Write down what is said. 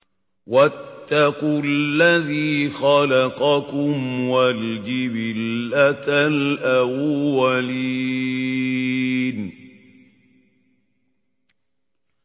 وَاتَّقُوا الَّذِي خَلَقَكُمْ وَالْجِبِلَّةَ الْأَوَّلِينَ